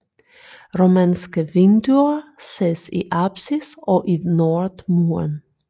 Romanske vinduer ses i apsis og i nordmuren